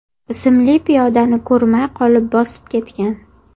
ismli piyodani ko‘rmay qolib bosib ketgan.